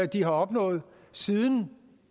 de har opnået siden